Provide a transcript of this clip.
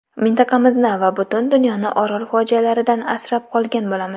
Mintaqamizni va butun dunyoni Orol fojialaridan asrab qolgan bo‘lamiz.